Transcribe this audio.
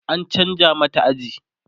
an chanza mata aji